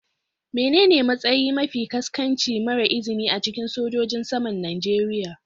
Menene matsayi mafi ƙasƙanci mara izini a cikin sojojin saman Najeriya.